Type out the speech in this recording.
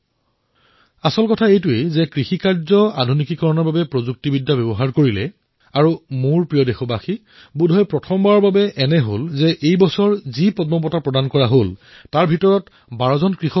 গুৰুত্বপূৰ্ণ কথা এয়ে যে তেওঁ খেতিৰ সৈতে প্ৰযুক্তি জড়িতৰ কামো কৰিছে আৰু মোৰ দেশবাসীসকল বোধহয় এইবাৰেই প্ৰথম যে পদ্ম পুৰষ্কাৰ পোৱা ব্যক্তিসকলৰ ১২জনেই কৃষক